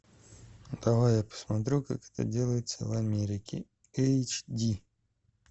давай я посмотрю как это делается в америке эйч ди